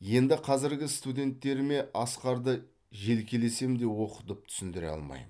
енді қазіргі студенттеріме асқарды желкелесем де оқытып түсіндіре алмаймын